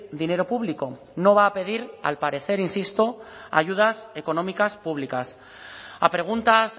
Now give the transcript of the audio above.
dinero público no va a pedir al parecer insisto ayudas económicas públicas a preguntas